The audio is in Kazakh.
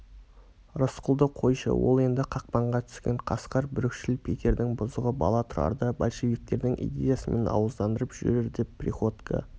рысқұлды қойшы ол енді қақпанға түскен қасқыр бүлікшіл питердің бұзығы бала тұрарды большевиктердің идеясымен ауыздандырып жүрер деп приходько